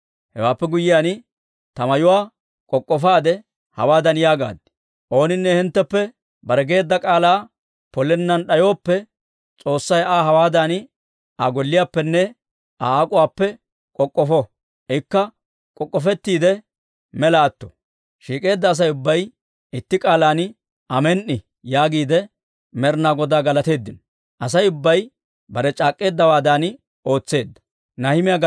Hewaappe guyyiyaan, ta mayuwaa k'ok'k'ofaade hawaadan yaagaad; «Ooninne hintteppe bare geedda k'aalaa polennan d'ayooppe, S'oossay Aa hawaadan Aa golliyaappenne Aa ak'uwaappe k'ok'k'ofo; ikka k'ok'k'ofettiide mela atto». Shiik'eedda Asay ubbay itti k'aalan, «Amen"i» yaagiide Med'ina Godaa galateeddino. Asay ubbay bare c'aak'k'eeddawaadan ootseedda.